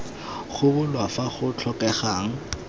go bulwa fa go tlhokegang